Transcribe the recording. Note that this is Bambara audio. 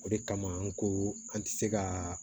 O de kama an ko an tɛ se ka